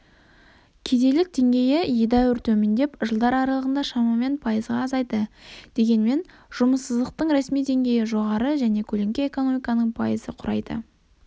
кедейлік деңгейі едәуір төмендеп жылдар аралығында шамамен пайызға азайды дегенмен жұмыссыздықтың ресми деңгейі жоғары және көлеңке экономиканың пайыз құрайды